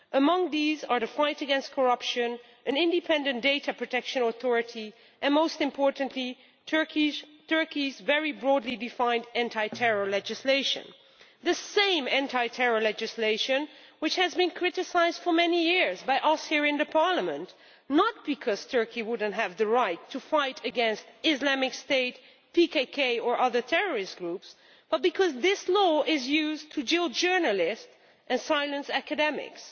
Among these are the fight against corruption, an independent data protection authority and, most importantly, Turkey's very broadly defined anti terror legislation the same anti terror legislation which has been criticised for many years by us here in Parliament, not because Turkey does not have the right to fight against Islamic State, PKK or other terrorist groups, but because this law is used to jail journalists and silence academics.